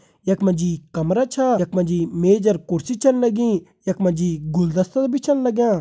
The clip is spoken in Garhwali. यखमा जी कमरा छा यखमा जी मेज और कुर्सी छिन लगीं यखमा जी गुलदस्ता भी छन लाग्यां।